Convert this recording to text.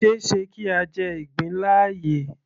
Kò ṣeéṣe kí a jẹ ìgbín láàyè